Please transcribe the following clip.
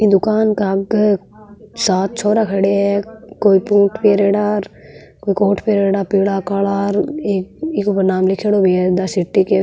ई दुकान के आगे सात छोरा खड़या है कोई बूट पहरेड़ा कोई कोट पहरेड़ा पिला काला इक ऊपर नाम लिख्योड़ो भी है द सिटी क --